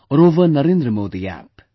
or over NarendraModiApp